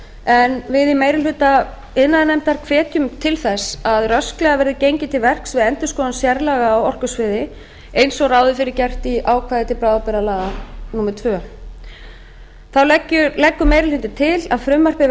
en við í meiri hluta iðnaðarnefndar hvetjum til þess að rösklega verði gengið til verks við endurskoðun sérlaga á orkusviði eins og ráð er fyrir gert í ákvæði til bráðabirgðalaga númer annars þá leggur meiri hlutinn til að frumvarpið